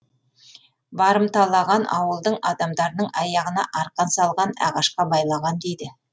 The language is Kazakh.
барымталаған ауылдың адамдарының аяғына арқан салған ағашқа байлаған дейді